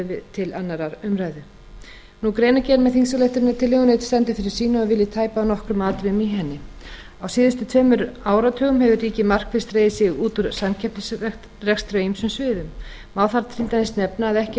til síðari umræðu greinargerðin með þingsályktunartillögunni stendur fyrir sínu og vil ég tæpa á nokkrum atriðum í henni á síðustu tveimur áratugum hefur ríkið markvisst dregið sig út úr samkeppnisrekstri á ýmsum sviðum má þar til dæmis nefna að ekki eru mörg ár síðan að